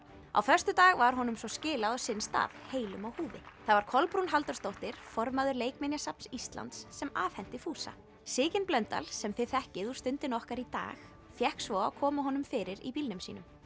á föstudag var honum svo skilað á sinn stað heilum á húfi það var Kolbrún Halldórsdóttir formaður Leikminjasafns Íslands sem afhenti fúsa Sigyn Blöndal sem þið þekkið úr Stundinni okkar í dag fékk svo að koma honum fyrir í bílnum sínum